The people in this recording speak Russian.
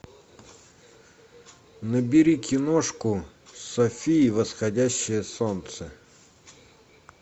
набери киношку софи и восходящее солнце